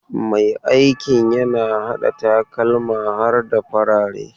Mai aikin yana hada takalma har da farare.